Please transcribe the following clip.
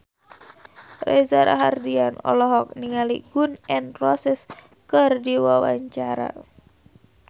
Reza Rahardian olohok ningali Gun N Roses keur diwawancara